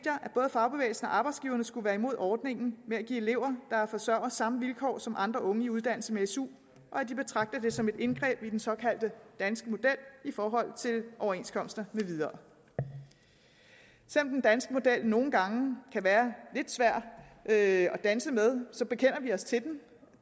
fagbevægelsen og arbejdsgiverne skulle være imod ordningen med at give elever der er forsørgere samme vilkår som andre unge i uddannelse med su og at de betragter det som et indgreb i den såkaldte danske model i forhold til overenskomster med videre selv om den danske model nogle gange kan være lidt svær at danse med bekender vi os til den